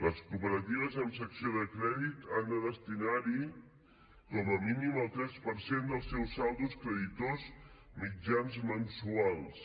les cooperatives amb secció de crèdit han de destinar hi com a mínim el tres per cent dels seus saldos creditors mitjans mensuals